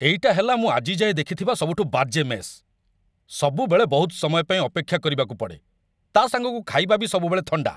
ଏଇଟା ହେଲା ମୁଁ ଆଜି ଯାଏଁ ଦେଖିଥିବା ସବୁଠୁ ବାଜେ ମେସ୍ । ସବୁବେଳେ ବହୁତ ସମୟ ପାଇଁ ଅପେକ୍ଷା କରିବାକୁ ପଡ଼େ, ତା'ସାଙ୍ଗକୁ ଖାଇବା ବି ସବୁବେଳେ ଥଣ୍ଡା ।